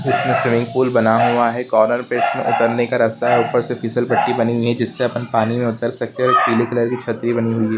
इसमें swimming pool बना हुआ है कार्नर पे इसमें उतरने का रास्ता है ऊपर से फिसल पट्टी बनी हुई है जिस से अपन पानी में उतर सकते है पीली कलर की छतरी बानी हुई--